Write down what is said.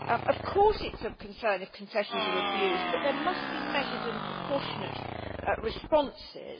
Of course, it is of concern if concessions are abused, but there must be measured and proportionate responses.